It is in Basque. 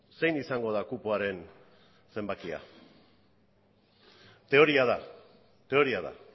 zein izango da kupoaren zenbakia teoria da teoria da